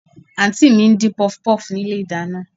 Àǹtí mi ń dín Pọfupọ́ọ̀fù nínú ilé ìdáná